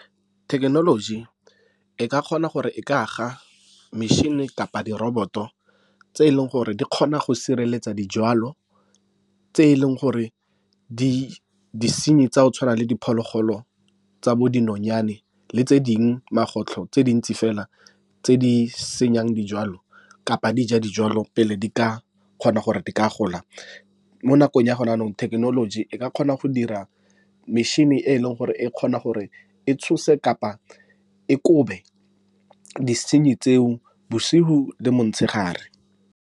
Thekenoloji e ka kgona gore e ka aga metšhini kapa di-robot-o tse e leng gore di kgona go sireletsa dijwalo, tse e leng gore di disenyi tsa go tshwana le diphologolo tsa bo dinonyane le tse dingwe magotlo tse dintsi fela tse di senyang dijwalo kapa dija dijwalo pele di ka kgona gore di ka gola. Mo nakong ya gona nou thekenoloji e ka kgona go dira metšhini e e leng gore e kgona gore e tshose kapa e kobe disenyi tseo bosigo le montshegare.